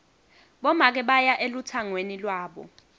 bomake baya elutsangweni lwabo